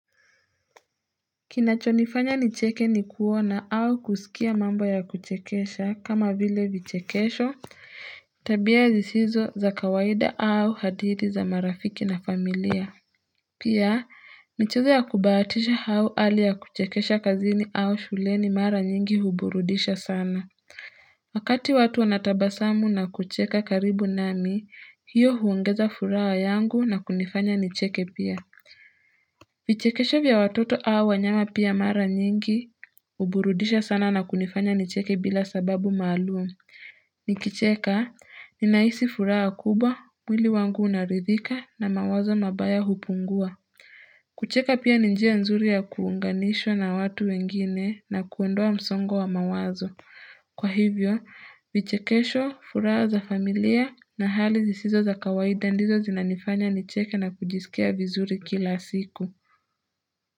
Kinachonifanya nicheke ni kuona au kusikia mambo ya kuchekesha kama vile vichekesho tabia zisizo za kawaida au hadithi za marafiki na familia Pia mchezo ya kubahatisha au hali ya kuchekesha kazini au shuleni mara nyingi huburudisha sana Wakati watu wanatabasamu na kucheka karibu nami hiyo huongeza furaha yangu na kunifanya nicheke pia vichekesho vya watoto au wanyama pia mara nyingi, huburudisha sana na kunifanya nicheke bila sababu maalum. Nikicheka, ninahisi furaha kubwa, mwili wangu unaridhika na mawazo mabaya hupungua. Kucheka pia ni njia nzuri ya kuunganishwa na watu wengine na kuondoa msongo wa mawazo. Kwa hivyo, vichekesho furaha za familia na hali zisizo za kawaida ndizo zinanifanya nicheke na kujisikia vizuri kila siku.